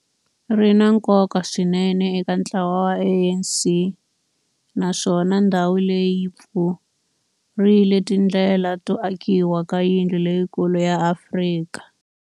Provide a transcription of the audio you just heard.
ri na nkoka swinene eka ntlawa wa ANC, naswona ndhawu leyi yi pfurile tindlela to akiwa ka yindlu leyikulu ya Afrika